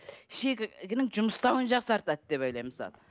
шегінің жұмыстауын жақсартады деп ойлаймын мысалы